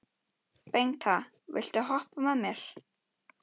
Bengta, viltu hoppa með mér?